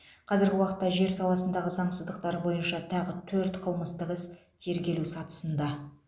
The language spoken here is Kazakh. қазіргі уақытта жер саласындағы заңсыздықтар бойынша тағы төрт қылмыстық іс тергелу сатысында